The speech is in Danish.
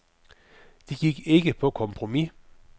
De gik ikke på kompromis.